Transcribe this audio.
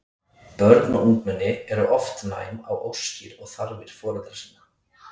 Börn og ungmenni eru oft næm á óskir og þarfir foreldra sinna.